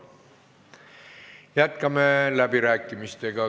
Jätkame läbirääkimisi.